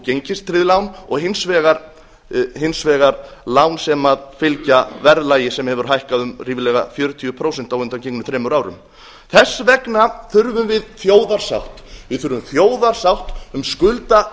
gengistryggð lán og hins vegar lán sem fylgja verðlagi sem hefur hækkað um ríflega fjörutíu prósent á undangengnum þremur árum þess vegna þurfum við þjóðarsátt við þurfum þjóðarsátt um skuldaleiðréttingu